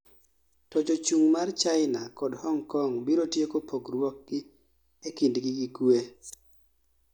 to jochung' mar China kod Hong Kong biro tieko pogruokgi e kindgi gi kue